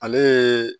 Ale ye